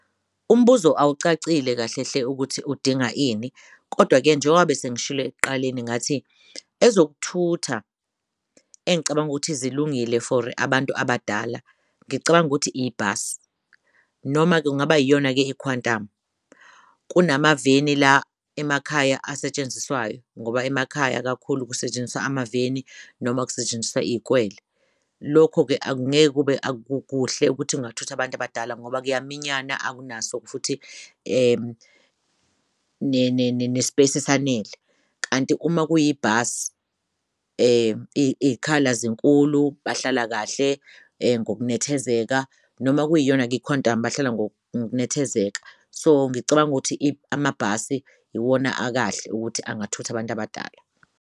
Umbuzo awucacile kahle hle ukuthi udinga ini kodwa-ke njengoba besengishilo ekuqaleni ngathi ezokuthutha engicabanga ukuthi zilungile for abantu abadala, ngicabanga ukuthi ibhasi noma kungaba iyona-ke i-Quantum. Kunamaveni la emakhaya asetshenziswayo ngoba emakhaya kakhulu kusetshenziswa amaveni noma kusetshenziswa iyikwele. Lokho-ke akukuhle ukuthi kungathutha abantu abadala ngoba kuyaminyanyana akunaso futhi ne-space esanele. Kanti uma kuyibhasi iy'khala zinkulu bahlala kahle-ke ngokunethezeka noma kuyiyon'kwikhwantamu bahlala ngokunethezeka. So ngicabanga ukuthi amabhasi iwona akahle ukuthi angathutha abant'abadala.